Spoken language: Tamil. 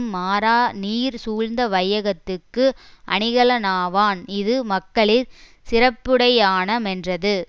மாறாநீர் சூழ்ந்த வையத்துக்கு அணிகலனாவான் இது மக்களிற் சிறப்புடையான மென்றது